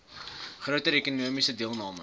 groter ekonomiese deelname